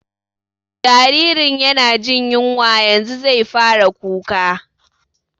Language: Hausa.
Jaririn yana jin yunwa, yanzu zai fara kuka